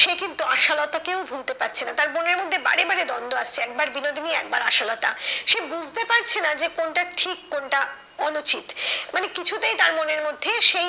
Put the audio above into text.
সে কিন্তু আশালতা কেও ভুলতে পারছে না। তার মনের মধ্যে বারে বারে দ্বন্দ্ব আসছে একবার বিনোদিনী একবার আশালতা। সে বুঝতে পারছে না যে কোনটা ঠিক কোনটা অনুচিত মানে কিছুতেই তার মনের মধ্যে সেই